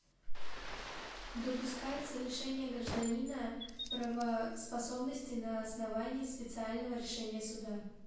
допускается лишение гражданина правоспособности на основании специального решения суда